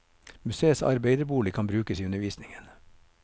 Museets arbeiderbolig kan brukes i undervisningen.